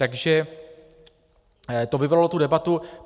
Takže to vyvolalo tu debatu.